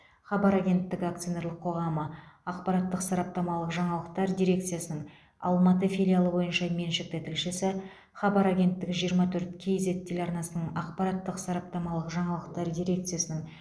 хабар агенттігі акционерлік қоғамы ақпараттық сараптамалық жаңалықтар дирекциясының алматы филиалы бойынша меншікті тілшісі хабар агенттігі жиырма төрт кз телеарнасының ақпараттық сараптамалық жаңалықтар дирекциясының